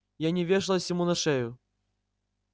я не вешалась ему на шею